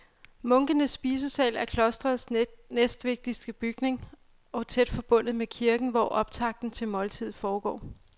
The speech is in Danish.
Munkenes spisesal er klostrets næstvigtigste bygning og tæt forbundet med kirken, hvor optakten til måltidet foregår.